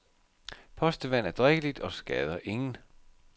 Postevand er drikkeligt og skader ingen.